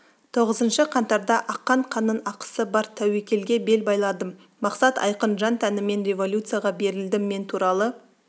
тоғызыншы қаңтарда аққан қанның ақысы бар тәуекелге бел байладым мақсат айқын жан-тәніммен революцияға берілдім мен туралы